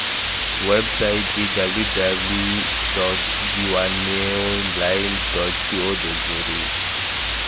websaeteng www dawineonline co za